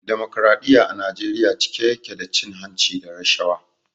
Damokradiyya a Najeriya cike ya ke da cin hanci da rashawa.